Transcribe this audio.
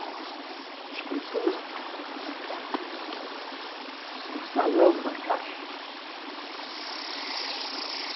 a escritura da casa, no salão da caixa.